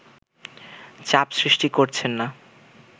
চাপ সৃষ্টি করছেন না